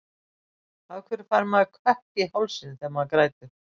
Af hverju fær maður kökk í hálsinn þegar maður grætur?